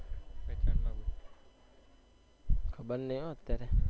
ખાબ નઈ હો અત્યારે